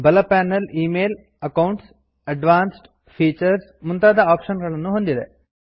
ಬಲ panel email accounts advanced features ಮುಂತಾದ option ಗಳನ್ನು ಹೊಂದಿದೆ